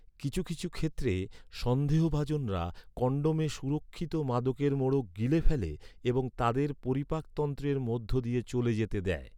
কিছু কিছু ক্ষেত্রে, সন্দেহভাজনরা কন্ডোমে সুরক্ষিত মাদকের মোড়ক গিলে ফেলে এবং তাদের পরিপাকতন্ত্রের মধ্য দিয়ে চলে যেতে দেয়।